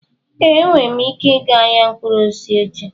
Ee, enwere m ike ịga ahịa mkpụrụ osisi echi.